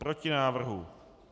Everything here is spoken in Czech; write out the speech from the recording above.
Proti návrhu.